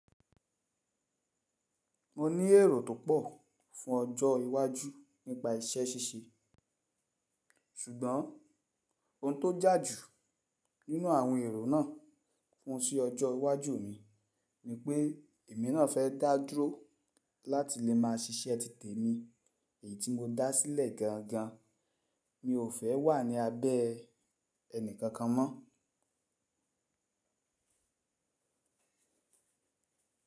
Mo ní èrò tó pọ̀ fún ọjọ́ iwájú nípa isẹ́ ṣíṣe. Sugbọn ohun tó jà jù nínú àwọn èrò náà fún ise ọjọ́ iwájú mi ni pé èmi náà fẹ́ dáduró láti lè máa ṣíṣẹ́ títè mi èyí tí mo dá sílẹ̀ gan gan. Mi ò fẹ́ wà ní abẹ́ ẹni kankan mọ́.